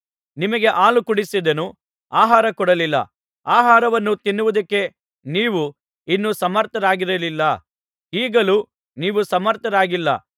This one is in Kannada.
ನಿಮಗೆ ಹಾಲು ಕುಡಿಸಿದೆನು ಆಹಾರ ಕೊಡಲಿಲ್ಲ ಆಹಾರವನ್ನು ತಿನ್ನುವುದಕ್ಕೆ ನೀವು ಇನ್ನೂ ಸಮರ್ಥರಾಗಿರಲಿಲ್ಲ ಈಗಲೂ ನೀವು ಸಮರ್ಥರಾಗಿಲ್ಲ